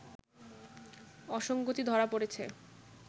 অসংগতি ধরা পড়েছে